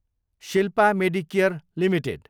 Shilpa Medicare Ltd